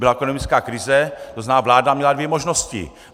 Byla ekonomická krize, to znamená, vláda měla dvě možnosti.